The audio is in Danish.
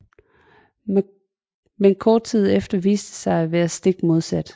Men kort tid efter viste det sig at være stik modsat